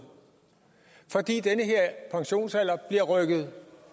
fordi den her pensionsalder bliver rykket